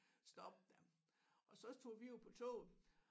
Stoppe der og så tog vi jo på toget